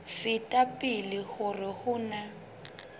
feta pele hore ho na